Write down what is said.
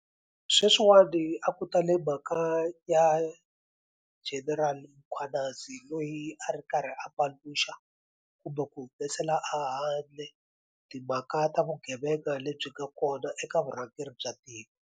Sweswiwani a ku tale mhaka ya General Mkhwanazi loyi a ri karhi a paluxa kumbe ku humesela a handle timhaka ta vugevenga lebyi nga kona eka vurhangeri bya tiko.